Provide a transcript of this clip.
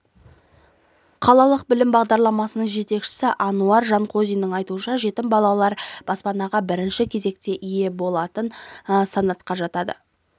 қалалық білім басқармасының жетекшісі ануар жанғозинның айтуынша жетім балалар баспанаға бірінші кезекте ие болатын санатқа жатады